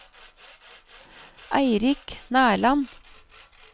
Eirik Nerland